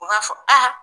U b'a fɔ